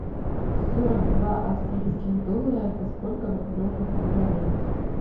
сорок два австралийских доллара это сколько в рублевом эквиваленте